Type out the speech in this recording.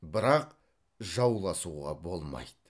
бірақ жауласуға болмайды